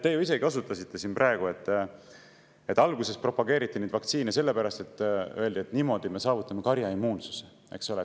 Te ju isegi osutasite siin praegu sellele, et alguses propageeriti neid vaktsiine, öeldes, et niimoodi me saavutame karjaimmuunsuse, eks ole.